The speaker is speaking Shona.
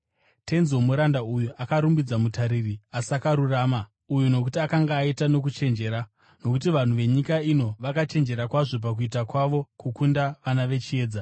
“Tenzi womuranda uyu akarumbidza mutariri asakarurama uyu nokuti akanga aita nokuchenjera. Nokuti vanhu venyika ino vakachenjera kwazvo pakuita kwavo kukunda vana vechiedza.